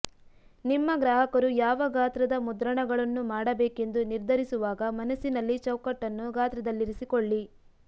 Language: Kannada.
ನಿಮ್ಮ ಗ್ರಾಹಕರು ಯಾವ ಗಾತ್ರದ ಮುದ್ರಣಗಳನ್ನು ಮಾಡಬೇಕೆಂದು ನಿರ್ಧರಿಸುವಾಗ ಮನಸ್ಸಿನಲ್ಲಿ ಚೌಕಟ್ಟನ್ನು ಗಾತ್ರದಲ್ಲಿರಿಸಿಕೊಳ್ಳಿ